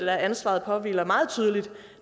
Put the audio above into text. at ansvaret påhviler meget tydeligt